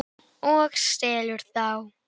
Frost í gær.